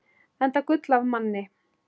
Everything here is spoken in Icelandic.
Enda gull af manni.